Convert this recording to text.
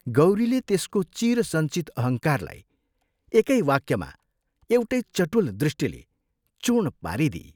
गौरीले त्यसको चिरसञ्चित अहङ्कारलाई एकै वाक्यमा एउटै चटुल दृष्टिले चूर्ण पारिदिई।